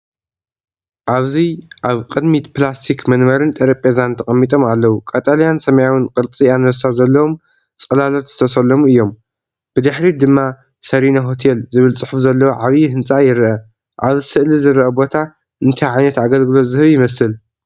ኣብዚ ኣብ ቅድሚት ፕላስቲክ መንበርን ጠረጴዛን ተቐሚጦም ኣለዉ። ቀጠልያን ሰማያውን ቅርጺ ኣንበሳ ዘለዎም ጽላሎት ዝተሰለሙ እዮም። ብድሕሪት ድማ “ሰሪና ሆቴል” ዝብል ጽሑፍ ዘለዎ ዓቢ ህንጻ ይርአ። ኣብዚ ስእሊ ዝርአ ቦታ እንታይ ዓይነት ኣገልግሎት ዝህብ ይመስል?